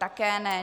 Také ne.